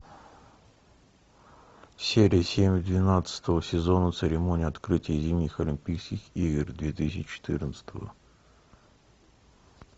серия семь двенадцатого сезона церемония открытия зимних олимпийских игр две тысячи четырнадцатого